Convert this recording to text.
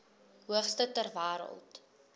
hoogste ter wêreld